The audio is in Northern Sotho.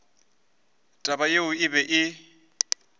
taba yeo e be e